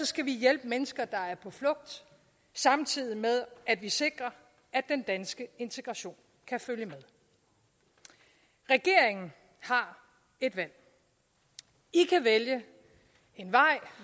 skal vi hjælpe mennesker der er på flugt samtidig med at vi sikrer at den danske integration kan følge med regeringen har et valg i kan vælge en